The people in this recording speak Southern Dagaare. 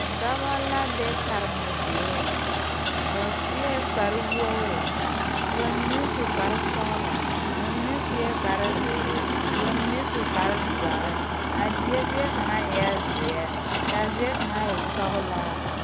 Noba la be karemɔge dieŋ ba sue kpar woori ka ba mine su kpar sɔgelɔ ba mine sue kpar zeere ka ba mine kpar doɔre a die zie kaŋa eɛ zeɛ kaa zie kaŋa e sɔgelaa